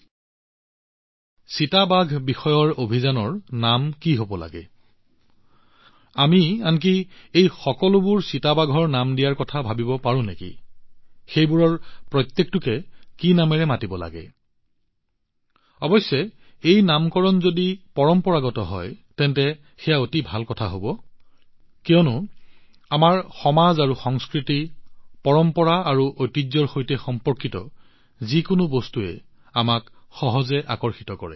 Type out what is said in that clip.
চিতাক লৈ আমি যি অভিযানৰ আয়োজন কৰিছো সেই অভিযানৰ নাম কি হব লাগে আমি আনকি এই সকলোবোৰ চিতাৰ নামাকণ কৰাৰ কথা ভাবিব পাৰোঁ নেকি যে কি নামেৰে সেইবোৰৰ প্ৰত্যেককে মাতিব লাগে অৱশ্যে যদি এই নামকৰণ পৰম্পৰাগত হয় তেন্তে ই অতি ভাল হব কিয়নো আমাৰ সমাজ আৰু সংস্কৃতি পৰম্পৰা আৰু ঐতিহ্যৰ সৈতে সম্পৰ্কিত যিকোনো বস্তুৱে আমাক সহজে আকৰ্ষিত কৰে